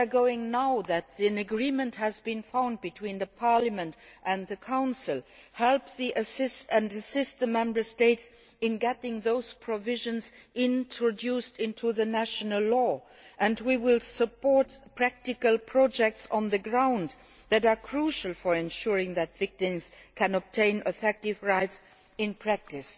Once an agreement has been found between Parliament and the Council, we will be able to help and assist the Member States in getting those provisions introduced into national law, and we will support practical projects on the ground that are crucial for ensuring that victims can obtain effective rights in practice.